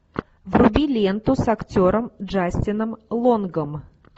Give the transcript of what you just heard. вруби ленту с актером джастином лонгом